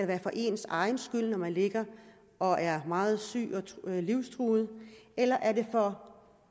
være for ens egen skyld når man ligger og er meget syg og livstruet eller er det for